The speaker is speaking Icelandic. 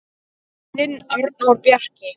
Þinn Arnór Bjarki.